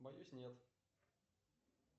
боюсь нет